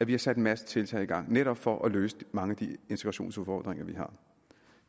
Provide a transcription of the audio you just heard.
at vi har sat en masse tiltag i gang netop for at løse mange af de integrationsudfordringer